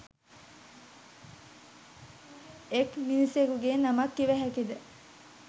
එක් මිනිසෙකුගේ නමක් කිව හැකිද?